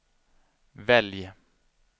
välj